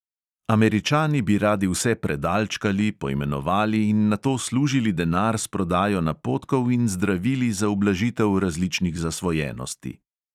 Američani bi radi vse predalčkali, poimenovali in nato služili denar s prodajo napotkov in zdravili za ublažitev različnih zasvojenosti.